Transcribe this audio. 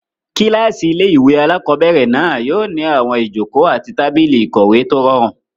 Kílásì ilé-ìwé alákobẹ̀rẹ̀ náà yóò ní àwọn ìjòkó àti tábìlì ìkọ̀wé tó rọrùn